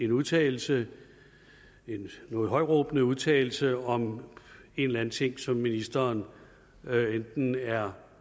udtalelse en noget højtråbende udtalelse om en eller anden ting som ministeren enten er